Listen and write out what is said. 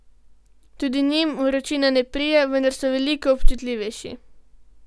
Tudi njim vročina ne prija, vendar so veliko občutljivejši.